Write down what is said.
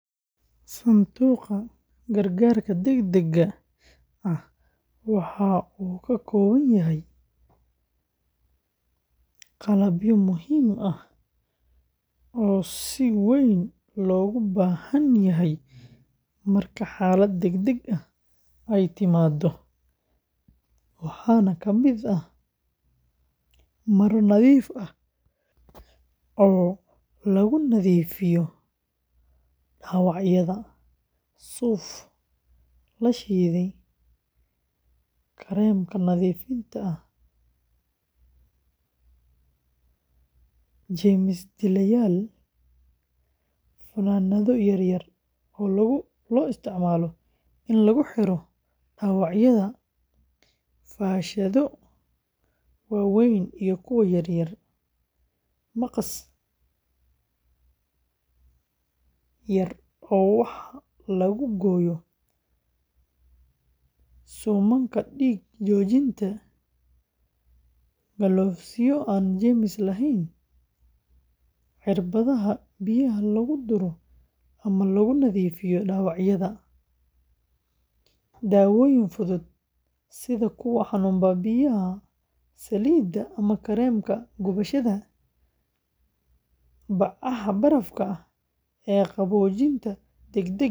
Sanduuqa gargaarka degdegga ah waxa uu ka kooban yahay qalabyo muhiim ah oo si weyn loogu baahan yahay marka xaalad degdeg ah ay timaaddo, waxaana ka mid ah maro nadiif ah oo lagu nadiifiyo dhaawacyada, suuf la shiiday, kareemka nadiifinta ah sida jeermis-dileyaal, funaanado yaryar oo loo isticmaalo in lagu xiro dhaawacyada, faashado waaweyn iyo kuwo yaryar, maqas yar oo wax lagu gooyo, suumanka dhiig-joojinta, galoofisyo aan jeermis lahayn, cirbadaha biyaha lagu duro ama lagu nadiifiyo dhaawacyada, daawooyin fudud sida kuwa xanuun baabi'iya, saliida ama kareemka gubashada, bacaha barafka ah ee qaboojinta degdegga ah.